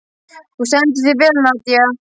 Þú stendur þig vel, Nadia!